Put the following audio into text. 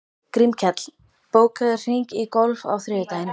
Grímkell, bókaðu hring í golf á þriðjudaginn.